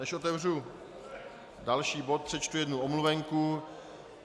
Než otevřu další bod, přečtu jednu omluvenku.